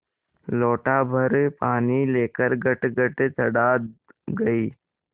लोटाभर पानी लेकर गटगट चढ़ा गई